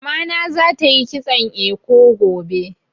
Mamana za ta yi kitson eko gobe